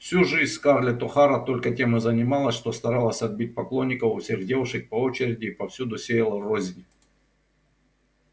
всю жизнь скарлетт охара только тем и занималась что старалась отбить поклонников у всех девушек по очереди и повсюду сеяла рознь